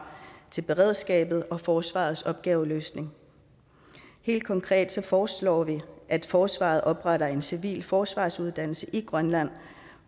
til beredskabet og forsvarets opgaveløsning helt konkret foreslår vi at forsvaret opretter en civil forsvarsuddannelse i grønland